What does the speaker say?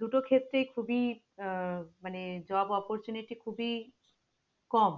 দুটো ক্ষেত্রেই খুবিই আহ মানে job opportunity খুবিই কম